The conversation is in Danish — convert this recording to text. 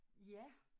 Ja